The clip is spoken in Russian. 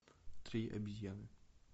три обезьяны